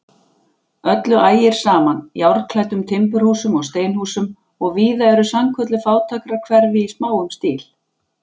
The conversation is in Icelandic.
Öllu ægir saman, járnklæddum timburhúsum og steinhúsum, og víða eru sannkölluð fátækrahverfi í smáum stíl.